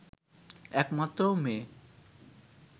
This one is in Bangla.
একমাত্র মেয়ে